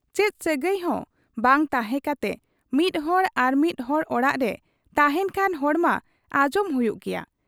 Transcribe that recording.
ᱪᱮᱫ ᱥᱟᱹᱜᱟᱹᱭ ᱦᱚᱸ ᱵᱟᱝ ᱛᱟᱦᱮᱸ ᱠᱟᱛᱮ ᱢᱤᱫ ᱦᱚᱲ ᱟᱨᱢᱤᱫ ᱦᱚᱲ ᱚᱲᱟᱜ ᱨᱮ ᱛᱟᱦᱮᱸᱱ ᱠᱷᱟᱱ ᱨᱚᱲ ᱢᱟ ᱟᱸᱡᱚᱢ ᱦᱩᱭᱩᱜ ᱜᱮᱭᱟ ᱾